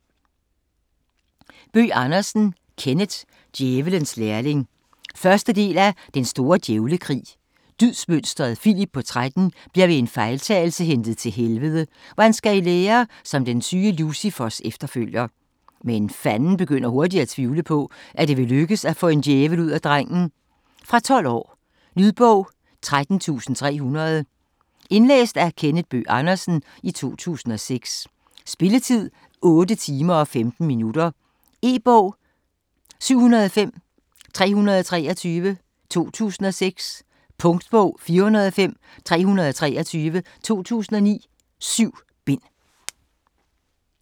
Bøgh Andersen, Kenneth: Djævelens lærling 1. del af Den store djævlekrig. Dydsmønsteret Filip på 13 bliver ved en fejltagelse hentet til Helvede, hvor han skal i lære som den syge Lucifers efterfølger. Men Fanden begynder hurtigt at tvivle på, at det vil lykkes at få en djævel ud af drengen. Fra 12 år. Lydbog 16300 Indlæst af Kenneth Bøgh Andersen, 2006. Spilletid: 8 timer, 15 minutter. E-bog 705323 2006. Punktbog 405323 2009. 7 bind.